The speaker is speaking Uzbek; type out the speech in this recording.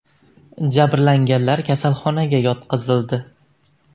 Jabrlanganlar kasalxonaga yotqizildi.